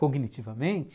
Cognitivamente?